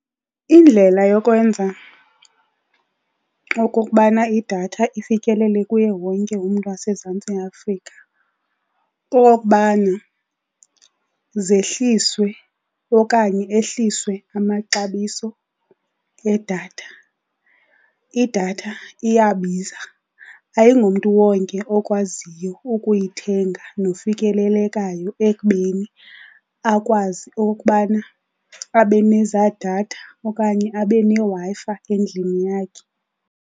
Indlela yokwenza okokubana idatha ifikelele kuye wonke umntu waseMzantsi Afrika, kukokubana zehliswe okanye ehliswe amaxabiso edatha. Idatha iyabiza, ayingomntu wonke okwaziyo ukuyithenga nofikelelekayo ekubeni akwazi okokubana abe nezaa datha okanye abe neWi-Fi endlini yakhe.